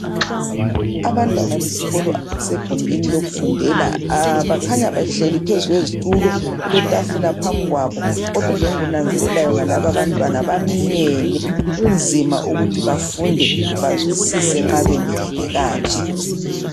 Abantwana besikolo abasegumbini lokufundela bakhanya behleli phezu kwezitulo kuletafula phambi kwabo kodwa ke engikunanzelelayo ngalaba abantwana baminyene kunzima ukuthi bafunde bazwisisise nxa beminyene kanje.